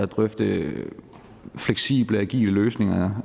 drøfte fleksible agile løsninger